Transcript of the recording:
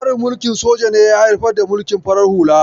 Tsarin mulkin soja ne ya haifar da mulkin farar hula.